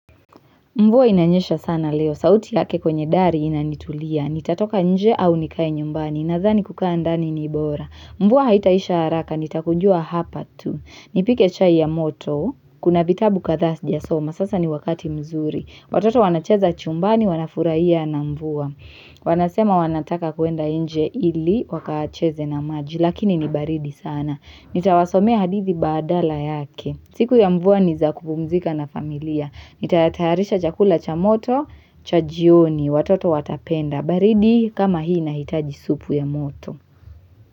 Mvua inanyesha sana leo, sauti yake kwenye dari inanitulia, nitatoka nje au nikae nyumbani, nadhani kukaa ndani ni bora. Mvua haitaisha haraka, nitakujua hapa tu, nipike chai ya moto, kuna vitabu kadhaa sijasoma, sasa ni wakati mzuri. Watoto wanacheza chumbani, wanafurahia na mvua. Wanasema wanataka kuenda nje ili, wakacheze na maji, lakini ni baridi sana. Nitawasomea hadithi badala yake. Siku ya mvua ni za kupumzika na familia. Nitaatayarisha chakula cha moto cha jioni watoto watapenda. Baridi kama hii inahitaji supu ya moto.